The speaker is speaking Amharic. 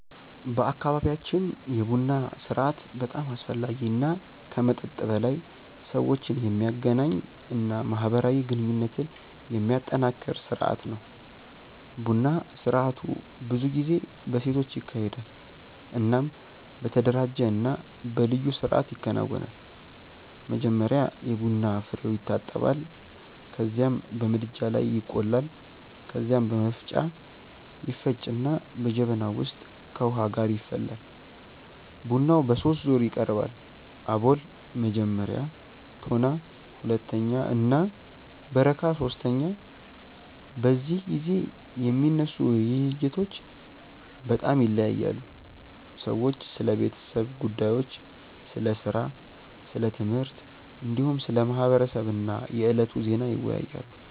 በአካባቢያችን የቡና ስርአት በጣም አስፈላጊ እና ከመጠጥ በላይ ሰዎችን የሚያገናኝ እና ማህበራዊ ግንኙነትን የሚያጠናክር ስርአት ነው። ቡና ስርአቱ ብዙ ጊዜ በሴቶች ይካሄዳል እናም በተደራጀ እና በልዩ ስርአት ይከናወናል። መጀመሪያ የቡና ፍሬዉ ይታጠባል ከዚያም በምድጃ ላይ ይቆላል። ከዚያ በመፍጫ ይፈጭና በጀበና ውስጥ ከውሃ ጋር ይፈላል። ቡናው በሶስት ዙር ይቀርባል፤ አቦል (መጀመሪያ)፣ ቶና (ሁለተኛ) እና በረካ (ሶስተኛ)። በዚህ ጊዜ የሚነሱ ውይይቶች በጣም ይለያያሉ። ሰዎች ስለ ቤተሰብ ጉዳዮች፣ ስለ ሥራ፣ ስለ ትምህርት፣ እንዲሁም ስለ ማህበረሰብ እና የዕለቱ ዜና ይወያያሉ።